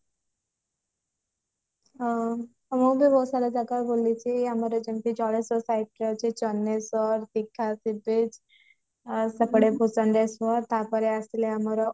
ହଉ ଆଉ ମୁଁ ବି ବହୁତ ସାରା ଜାଗା ବୁଲିଛି ଆମର ଯେମିତି ଜଳେଶ୍ଵର site ରେ ଅଛି ଚନ୍ଦେନେଶ୍ବର ଦିଘା ଆଉ ସେପଟେ ତାପରେ ଆସିଲା ଆମର